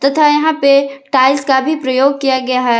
तथा यहां पे टाइल्स का भी प्रयोग किया गया है।